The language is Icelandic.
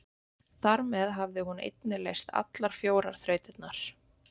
Þar með hafði hún einnig leyst allar fjórar þrautirnar.